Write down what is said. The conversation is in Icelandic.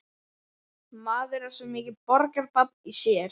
Maður er svo mikið borgarbarn í sér.